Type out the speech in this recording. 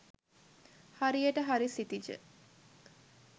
හරියට හරි සිතිජ